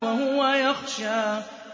وَهُوَ يَخْشَىٰ